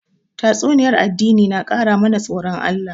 Tatsuniyar addini na ƙara mana tsoron Allah